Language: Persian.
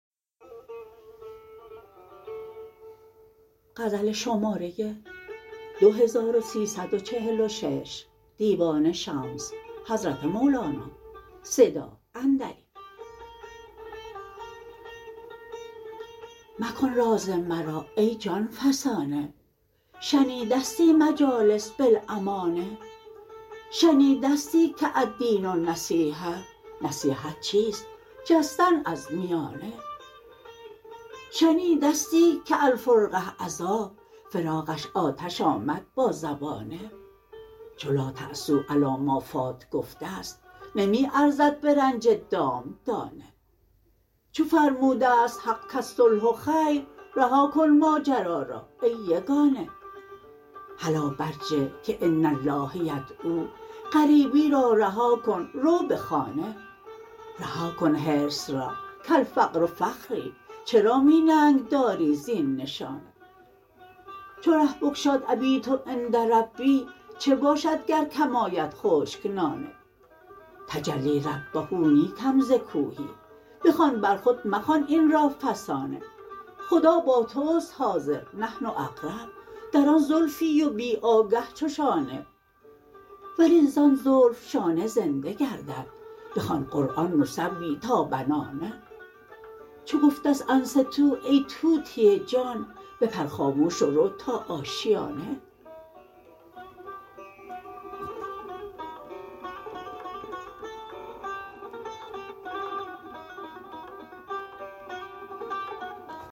مکن راز مرا ای جان فسانه شنیدستی مجالس بالامانه شنیدستی که الدین النصیحه نصیحت چیست جستن از میانه شنیدستی که الفرقه عذاب فراقش آتش آمد با زبانه چو لا تاسو علی ما فات گفته ست نمی ارزد به رنج دام دانه چو فرموده ست حق کالصلح خیر رها کن ماجرا را ای یگانه هلا برجه که ان الله یدعوا غریبی را رها کن رو به خانه رها کن حرص را کالفقر فخری چرا می ننگ داری زین نشانه چو ره بگشاد ابیت عند ربی چه باشد گر کم آید خشک نانه تجلی ربه نی کم ز کوهی بخوان بر خود مخوان این را فسانه خدا با توست حاضر نحن اقرب در آن زلفی و بی آگه چو شانه ولی زان زلف شانه زنده گردد بخوان قرآن نسوی تا بنانه چو گفته ست انصتو ای طوطی جان بپر خاموش و رو تا آشیانه